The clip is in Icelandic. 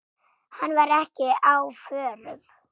Hann var ekki á förum.